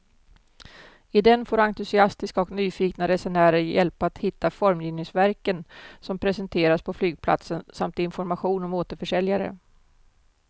I den får entusiastiska och nyfikna resenärer hjälp att hitta formgivningsverken som presenteras på flygplatsen samt information om återförsäljare.